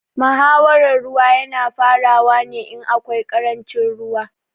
Muhawaran ruwa ya na farawa ne in akwai ƙarancin ruwa